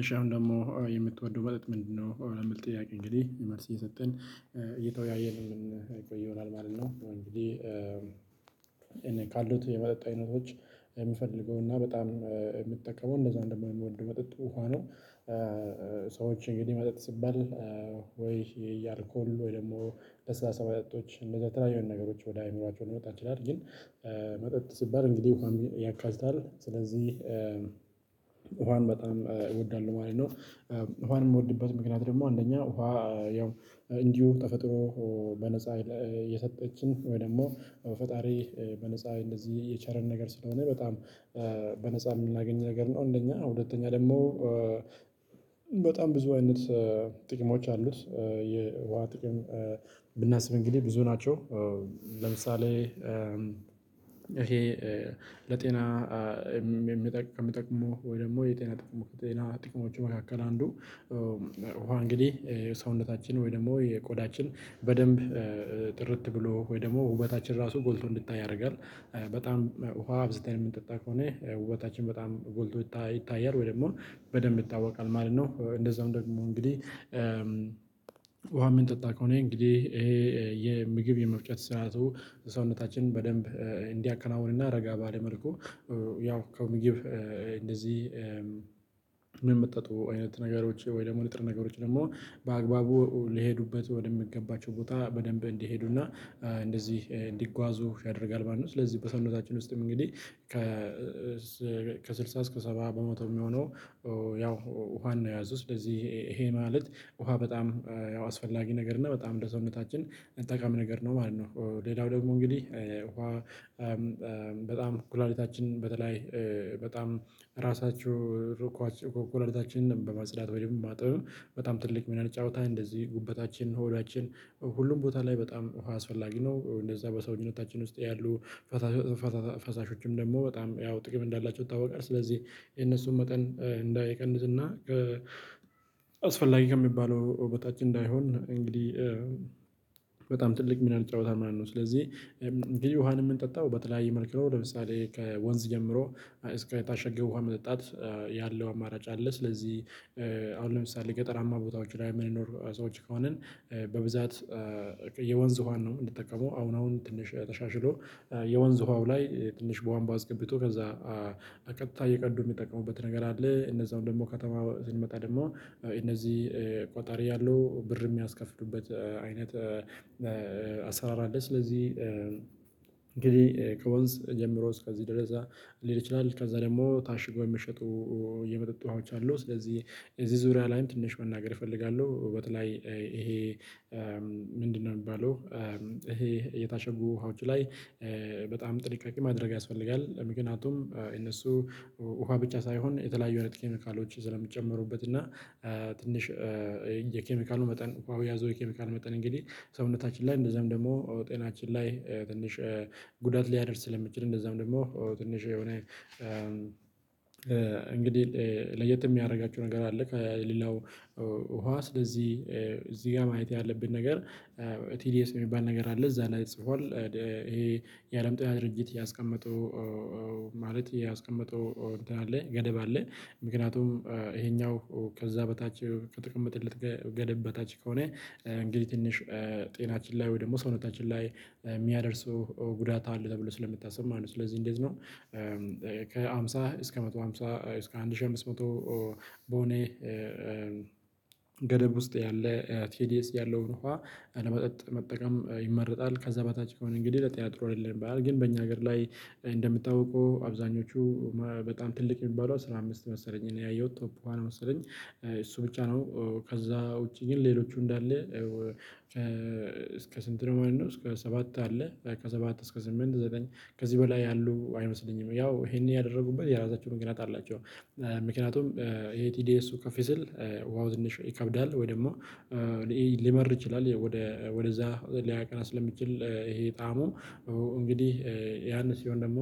እሺ አሁን ደግሞ የምትወደው መጠጥ ምንድነው? ለሚል ጥያቄ እንግዲህ መልስ እየሰጠን እየተወያየን የምንቆይ ይሆናል ማለት ነው። እንግዲህ እኔ ካሉት የመጠጥ አይነቶች የምፈልገው እና በጣም የምትጠቀመው መጠጥ ውሃ ነው ሰዎች እንግዲህ መጠጥ ሲባል ወይ የአልኮል ወይ ደግሞ ለስላሳ መጠጦች እንደዛ የተለያዩ ነገሮች ወደ አእምሮአቸው ሊመጣ ይችላል። ግን መጠጥ ሲባል እንግዲህ ውሃን ያካትታል። ስለዚህ ውሃን በጣም እወዳለሁ ማለት ነው። ውሃን የምወድበት ምክንያት ደግሞ አንደኛ ውሃ ያው እንዲሁ ተፈጥሮ በነፃ የሰጠችን ወይ ደግሞ ፈጣሪ በነፃ የቸረን ነገር ስለሆነ በጣም በነፃ የምናገኝ ነገር ነው እንደኛ ሁለተኛ ደግሞ በጣም ብዙ አይነት ጥቅሞች አሉት። የውሃ ጥቅም ብናስብ እንግዲህ ብዙ ናቸው። ለምሳሌ:- የጤና ጥቅሞቹ መካከል አንዱ ውሃ እንግዲህ የሰውነታችንን ወይ ደግሞ የቆዳችንን በደንብ ጥርት ብሎ ወይ ደግሞ ውበታችን ራሱ ጎልቶ እንዲታይ ያደርጋል። በጣም ውሃ አብዝተን የምንጠጣ ከሆነ ውበታችን በጣም ጎልቶ ይታያል። ወይ ደግሞ በደንብ ይታወቃል ማለት ነው። ውሃ የምንጠጣ ከሆነ እንግዲህ የምግብ የመፍጨት ስርዓቱ ሰውነታችን በደንብ እንዲያከናውን እና ረጋ ባለ መልኩ ያው ከምግብ እንደዚህ ምን መጣጥ አይነት ነገሮች ወይ ደግሞ ንጥረ ነገሮች ደግሞ በአግባቡ ልሄዱበት ወደሚገባቸው ቦታ በደንብ እንዲሄዱና እንዲጓዙ ያደርጋል ማለት ነው። ስለዚህ በሰውነታችን ውስጥም እንግዲህ ከ ከስልሳ እስከ ሰባ በመቶ የሚሆነው ያው ውሃን ነው የያዘው። ስለዚህ ይሄ ማለት ውሃ በጣም ያው አስፈላጊ ነገር እና በጣም ለሰውነታችን ጠቃሚ ነገር ነው ማለት ነው። ሌላው ደግሞ እንግዲህ ውሃ በጣም ኩላሊታችንን በተለይ በጣም ራሳችሁ ኩላሊታችንን በማጽዳት ወይም በማጠብም ትልቅ ሚናን ይጫወታል። እንደዚህ ጉበታችን፣ ሆዳችን ሁሉም ቦታ ላይ በጣም ውሃ አስፈላጊ ነው። በሰውንነታችን ውስጥ ያሉ ፈሳሾችም ደግሞ በጣም ያው ጥቅም እንዳላቸው ይታወቃል። ስለዚህ የነሱን መጠን እንዳይቀንስና አስፈላጊ ከሚባለው በታች እንዳይሆን እንግዲህ በጣም ትልቅ ሚናን ይጫወታል ማለት ነው። እንግዲህ ውሃን የምንጠጣው በተለያየ መልክ ነው። ለምሳሌ:- ከወንዝ ጀምሮ እስከ ታሸገ ውሃ መጠጣት ያለው አማራጭ አለ። ስለዚህ አሁን ለምሳሌ:- ገጠራማ ቦታዎች ላይ የምንኖር ሰዎች ከሆንን በብዛት የወንዝ ውሃን ነው የምትጠቀመው። አሁን አሁን ትንሽ ተሻሽሎ የወንዝ ውሃው ላይ ትንሽ ቧንቧ አስገብቶ ከዛ በቀጥታ እየቀዱ የሚጠቅሙበት ነገር አለ። ከተማ ስንመጣ ደግሞ ቆጣሪ ያለው ብር የሚያስከፍሉበት አይነት አሰራር አለ። ስለዚህ እንግዲህ ከወንዝ ጀምሮ እስከዚህ ድረስ ሊሄድ ይችላል። ከዛ ደግሞ ታሽገው የሚሸጡ የመጠጥ ውሃዎች አሉ። ስለዚህ እዚህ ዙሪያ ላይም ትንሽ መናገር እፈልጋለሁ። በተለይ ይሄ ምንድነው የሚባለው? ይሄ የታሸጉ ውሃዎች ላይ በጣም ጥንቃቄ ማድረግ ያስፈልጋል። ምክንያቱም እነሱ ውሃ ብቻ ሳይሆን የተለያዩ አይነት ኬሚካሎች ስለሚጨመሩበት እና ትንሽ የኬሚካሉ መጠን የያዘው የኬሚካል መጠን እንግዲህ ሰውነታችን ላይ እንደዛም ደግሞ ጤናችን ላይ ትንሽ ጉዳት ሊያደርስ ስለሚችል። እንደዛም ደግሞ ትንሽ የሆነ እንግዲህ ለየት የሚያደርጋቸው ነገር አለ። ከሌላው ውሃ ስለዚህ እዚህ ጋር ማየት ያለብን ነገር ቲዲኤስ የሚባል ነገር አለ እዛ ላይ ጽፏል። ይሄ የአለም ጤና ድርጅት ያስቀመጠው ገደብ አለ። ምክንያቱም ይሄኛው ከዛ በታች ከተቀመጠለት ገደብ በታች ከሆነ እንግዲህ ትንሽ ጤናችን ላይ ወይ ደግሞ ሰውነታችን ላይ የሚያደርሰው ጉዳት አለ ተብሎ ስለምታስብ ማለት ነው። ስለዚህ እንዴት ነው ከሃምሳ እስከ መቶ ሃምሳ እስከ አንድ ሺህ አምስት መቶ በሆነ ገደብ ውስጥ ያለ ቴዲኤስ ያለውን ውሃ ለመጠጥ መጠቀም ይመረጣል ከዛ በታች ከሆነ እንግዲህ ለጤና ጥሩ አይደለም ይባላል ግን በእኛ ሀገር ላይ እንደምታውቁ አብዛኞቹ በጣም ትልቅ የሚባለው አስራ አምስት መሰለኝ እኔ ያየሁት ቶፕ ውሃን መሰለኝ እሱ ብቻ ነው ከዛ ውጪ ግን ሌሎቹ እንዳለ እስከ ስንት ነው ማለት ነው? እስከ ሰባት አለ ከሰባት እስከ ስምንት ዘጠኝ ከዚህ በላይ ያሉ አይመስለኝም። ያው ይሄንን ያደረጉበት የራሳቸው ምክንያት አላቸው። ምክንያቱም ይሄ ቲዲኤ እሱ ከፍ ሲል ውሃው ትንሽ ይከብዳል ወይ ደግሞ ሊመር ይችላል። ወደ ወደዛ ሊያቀና ስለሚችል ይሄ ጠዓሙ እንግዲህ ያን ሲሆን ደግሞ